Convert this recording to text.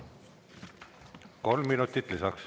Kolm minutit lisaks.